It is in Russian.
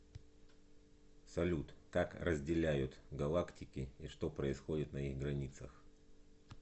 салют как разделяют галактики и что происходит на их границах